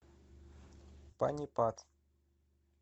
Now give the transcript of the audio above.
панипат